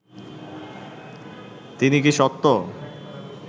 তিনি কি সত্য